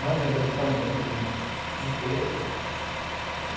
Não vendeu tão bem. Vendeu um ter... acho que